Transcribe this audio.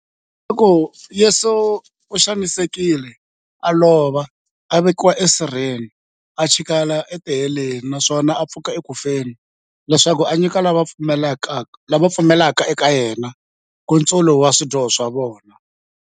Leswaku Yesu u xanisekile, a lova, a vekiwa e sirheni, a chikela e tiheleni, naswona a pfuka eku feni, leswaku a nyika lava va pfumelaka eka yena, nkutsulo wa swidyoho swa vona.